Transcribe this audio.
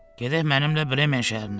Gedək mənimlə Bremen şəhərinə.